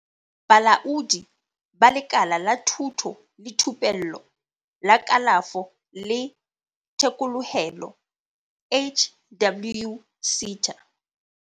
Bolaodi ba Lekala la Thuto le Thupello la Kalafo le Thekolohelo HWSETA.